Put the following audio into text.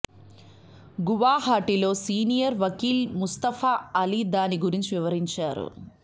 గువాహాటీలో senior వకీల్ ముస్తఫా అలీ దాని గురించి వివరించారు